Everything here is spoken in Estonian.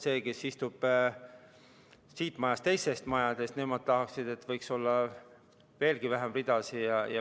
See, kes istub mitte siin majas, vaid mõnes teises majas, tahaks, et oleks veelgi vähem ridasid.